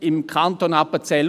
Im Kanton Appenzell